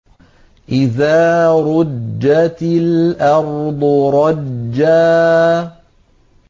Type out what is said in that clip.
إِذَا رُجَّتِ الْأَرْضُ رَجًّا